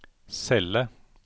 celle